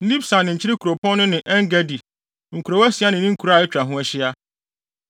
Nibsan ne Nkyene kuropɔn no ne En-Gedi, nkurow asia ne ne nkuraa a atwa ho ahyia.